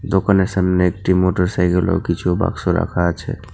দোকানের সামনে একটি মোটরসাইকেল ও কিছু বাক্স রাখা আছে।